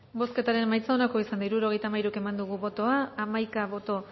bozketaren emaitza onako izan da hirurogeita hamairu eman dugu bozka hamaika boto